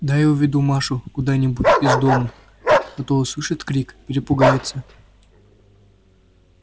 дай уведу машу куда-нибудь из дому а то услышит крик перепугается